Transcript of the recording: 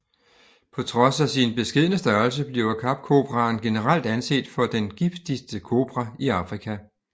På trods af sin beskedne størrelse bliver Kapkobraen generelt anset for den giftigste kobra i Afrika